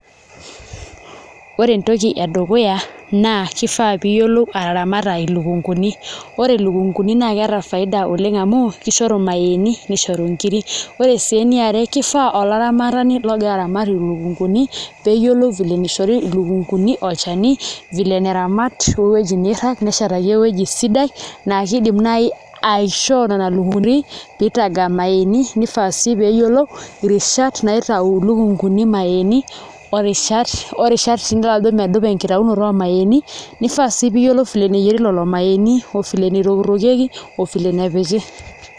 Ore entoki edukuya naa kifaa pee iyiolo ataramata ilukunguni, opre ilukunguni naa keeta faida oleng' amu kishoru irmayaaini nishoru nkiri ore sii eniare kishiaa olaramatani ogira aramat ilukunguni pee eyiolou vile nishori ilukunguni olchani vile neramat o ewueji niirag neshetaki ewueji sidai naa kiidim naai aishoo nena lukunguni pee itaga irmayaaini nifaa sii pee eyilou irishat naitau ilukunguni irmayaaini orishat sii nidolta ajo medupa enkitaunoto ormayaaini nifaa sii pee iyiolou vile neyieri lelo mayaaini ovile nitokitokieki ovile nepiki.